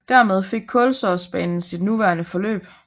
Dermed fik Kolsåsbanen sit nuværende forløb